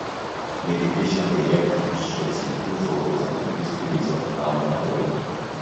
meditation dey help reduce stress improve focus and increase feelings of calm and wellbeing